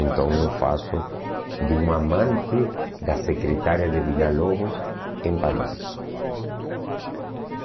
Então eu faço de um amante da secretária de Villa-Lobos em Paris.